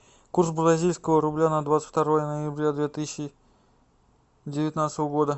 курс бразильского рубля на двадцать второе ноября две тысячи девятнадцатого года